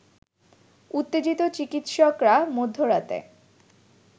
উত্তেজিত চিকিৎসকরা মধ্যরাতে